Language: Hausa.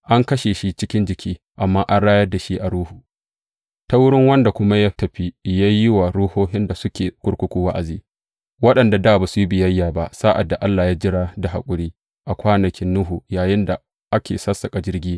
An kashe shi a cikin jiki, amma an rayar da shi a Ruhu, ta wurin wanda kuma ya tafi ya yi wa ruhohin da suke a kurkuku wa’azi waɗanda dā ba su yi biyayya ba sa’ad da Allah ya jira da haƙuri a kwanaki Nuhu yayinda ake sassaƙa jirgi.